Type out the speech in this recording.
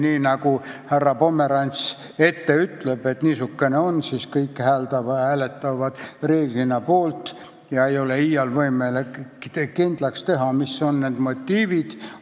Nii nagu härra Pomerants ette ütleb, kõik reeglina hääletavad ja iial ei ole võimalik kindlaks teha, mis on nende motiivid.